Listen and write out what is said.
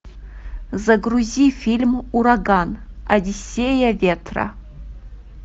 загрузи фильм ураган одиссея ветра